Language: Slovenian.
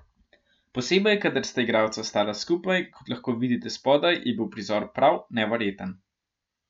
Posebej kadar sta igralca stala skupaj, kot lahko vidite spodaj, je bil prizor prav neverjeten.